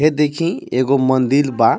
ए देखीं एगो मंदिल बा.